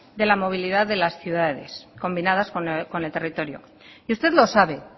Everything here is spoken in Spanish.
de la movilidad de las ciudades combinadas con el territorio y usted lo sabe